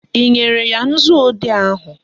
Ị nyere ya nzuodee ahụ?